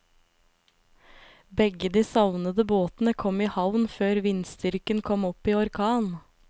Begge de savnede båtene kom i havn før vindstyrken kom opp i orkan.